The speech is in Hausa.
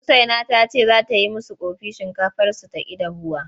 Usaina ta ce za ta yi musu ƙofi shinkafarsu ta ƙi dahuwa.